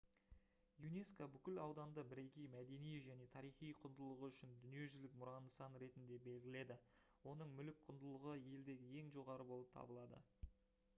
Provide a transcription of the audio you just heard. юнеско бүкіл ауданды бірегей мәдени және тарихи құндылығы үшін дүниежүзілік мұра нысаны ретінде белгіледі оның мүлік құндылығы елдегі ең жоғары болып табылады